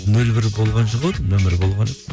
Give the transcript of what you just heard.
нөл бір болған жоқ ау деймін нөмірі болған